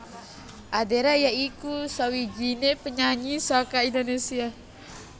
Adera ya iku sawijiné penyanyi saka Indonésia